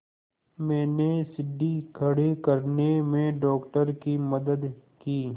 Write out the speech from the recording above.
मैंने सीढ़ी खड़े करने में डॉक्टर की मदद की